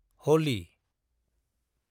होलि